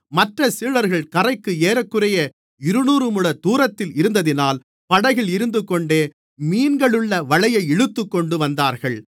மற்றச் சீடர்கள் கரைக்கு ஏறக்குறைய இருநூறுமுழத் தூரத்தில் இருந்ததினால் படகில் இருந்துகொண்டே மீன்களுள்ள வலையை இழுத்துக்கொண்டு வந்தார்கள்